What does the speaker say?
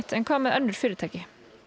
en hvað með önnur fyrirtæki